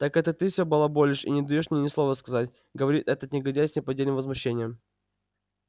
так это ты все балаболишь и не даёшь мне ни слова сказать говорит этот негодяй с неподдельным возмущением